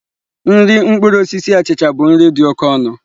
Nri mkpụrụ osisi achịcha bụ nri dị oke ọnụ.